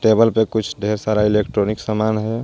Table पे कुछ ढेर सारा इलेक्ट्रॉनिक सामान हे.